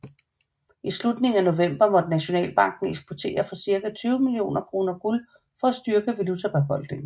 I slutningen af november måtte Nationalbanken eksportere for cirka 20 millioner kroner guld for at styrke valutabeholdningen